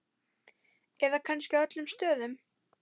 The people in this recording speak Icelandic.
Eða kannski á öllum stöðum?